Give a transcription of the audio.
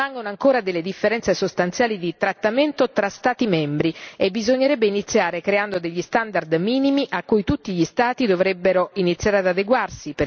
Permangono ancora delle differenze sostanziali di trattamento tra Stati membri e bisognerebbe iniziare creando degli standard minimi a cui tutti gli Stati dovrebbero iniziare ad adeguarsi.